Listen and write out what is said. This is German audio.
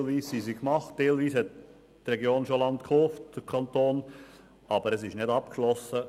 Teilweise sind sie erfolgt, teilweise hat der Kanton schon Land gekauft, aber das ist noch nicht abgeschlossen.